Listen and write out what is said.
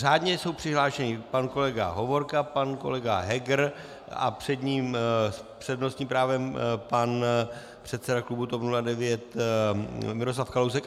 Řádně jsou přihlášeni pan kolega Hovorka, pan kolega Heger a před ním s přednostním právem pan předseda klubu TOP 09 Miroslav Kalousek.